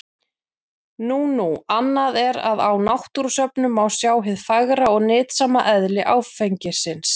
Nú nú, annað er að á náttúrusöfnum má sjá hið fagra og nytsama eðli áfengisins.